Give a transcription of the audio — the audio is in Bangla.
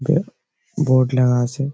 বোর্ড লাগা আছে।